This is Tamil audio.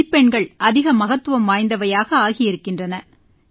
மதிப்பெண்கள் அதிக மகத்துவம் வாய்ந்தவையாக ஆகியிருக்கின்றன